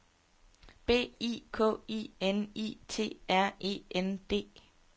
B I K I N I T R E N D